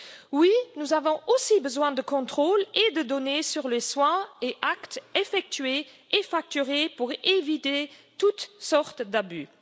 Oui, nous avons aussi besoin de contrôle et de données sur les soins et actes effectués et facturés pour éviter toutes sortes d'abus.